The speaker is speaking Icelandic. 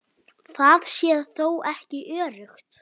Það sé þó ekki öruggt.